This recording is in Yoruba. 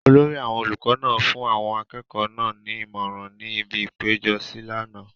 olórí àwọn olùkọ náà fún àwọn akẹ́kọ̀ọ́ náà ní ìmọ̀ràn ní ibi ìpéjọsí ní àná